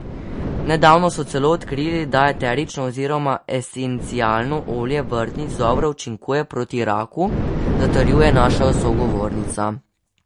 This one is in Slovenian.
Nedavno so celo odkrili, da eterično oziroma esencialno olje vrtnic dobro učinkuje proti raku, zatrjuje naša sogovornica.